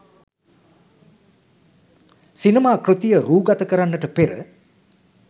සිනමා කෘතිය රූගත කරන්නට පෙර